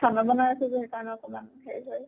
খানা বনাই আছো যে সেই কাৰণে অকমান হেৰি হয়।